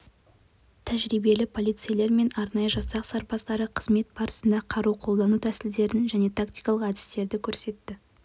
тәжірибелі полицейлер мен арнайы жасақ сарбаздары қызмет барысында қару қолдану тәсілдерін және тактикалық әдістерді көрсетті